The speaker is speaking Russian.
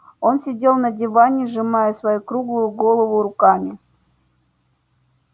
он сидел на диване сжимая свою круглую голову руками